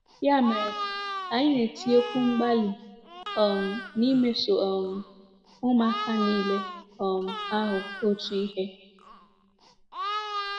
Ya mere, anyị na-etinyekwu mgbalị um n'imeso um ụmụaka niile um ahụ otu ihe.